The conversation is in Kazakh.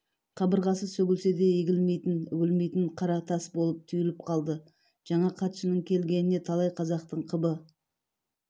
қабырғасы сөгілсе де егілмейтін үгілмейтін қара тас болып түйіліп қалды жаңа хатшының келгеніне талай қазақтың қыбы